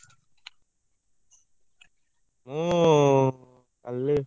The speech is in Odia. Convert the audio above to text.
ମୁଁ କାଲି?